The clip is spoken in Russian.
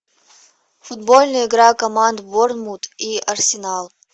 футбольная игра команд борнмут и арсенал